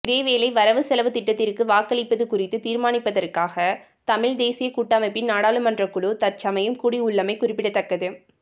இதேவேளை வரவு செலவு திட்டத்திற்கு வாக்களிப்பது குறித்து தீர்மானிப்பதற்காக தமிழ் தேசியக் கூட்டமைப்பின் நாடாளுமன்ற குழு தற்சமயம் கூடியுள்ளமை குறிப்பிடத்தக்கது